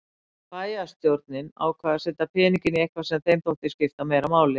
Bæjarstjórnin ákvað að setja peninginn í eitthvað sem þeim þótti skipta meira máli.